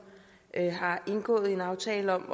har indgået en aftale